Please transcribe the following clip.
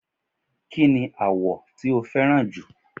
ki ni awọ ti o fẹràn ju